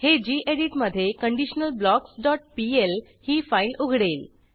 हे गेडीत मधे conditionalblocksपीएल ही फाईल उघडेल